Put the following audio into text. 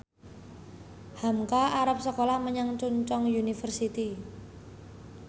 hamka arep sekolah menyang Chungceong University